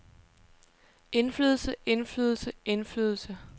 indflydelse indflydelse indflydelse